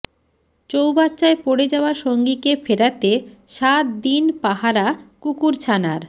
চৌবাচ্চায় পড়ে যাওয়া সঙ্গীকে ফেরাতে সাত দিন পাহারা কুকুরছানার